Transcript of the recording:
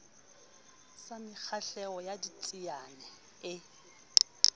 sa mekgahlelo ya ditsiane e